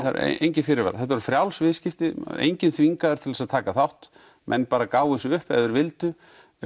engir fyrirvarar þetta voru frjáls viðskipti enginn þvingaður til að taka þátt menn bara gáfu sig upp ef þeir vildu